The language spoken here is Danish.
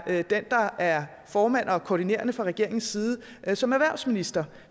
den der er formand og koordinerende fra regeringens side som erhvervsminister